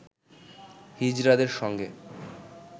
হিজড়াদের সঙ্গে